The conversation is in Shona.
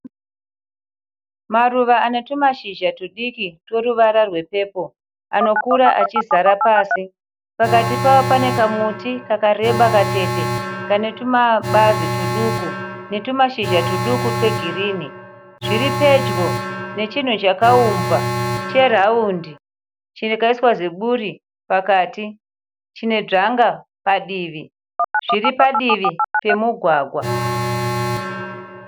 Maruva ane tumashizha tudiki tweruvara rwepepo anokura achizara pasi, pakati pawo pane kamuti kakareba katete kane tumabazi tuduku netumashizha tuduku twegirini zviri pedyo nechinhu chakaumbwa cheraundi chakaiswa ziburi pakati chine dzvanga padivi zviri padivi pemugwagwa.